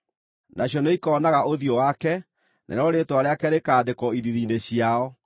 Nacio nĩikoonaga ũthiũ wake, narĩo rĩĩtwa rĩake rĩkandĩkwo ithiithi-inĩ ciao.